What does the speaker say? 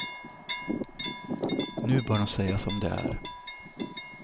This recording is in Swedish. Nu bör de säga som det är.